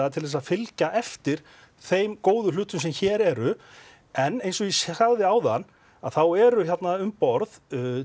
til að fylgja eftir þeim góðu hlutum sem hér eru en eins og ég sagði áðan þá eru þarna um borð